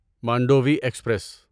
Mandvi express